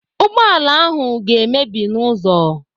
Ụgbọala ahụ ga-emebi n'ụzọ.